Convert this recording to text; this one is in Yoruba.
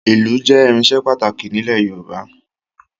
Ìlù jẹ́ irinṣẹ́ pàtàkì nílẹ̀ Yorùbá